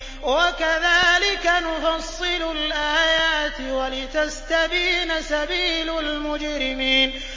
وَكَذَٰلِكَ نُفَصِّلُ الْآيَاتِ وَلِتَسْتَبِينَ سَبِيلُ الْمُجْرِمِينَ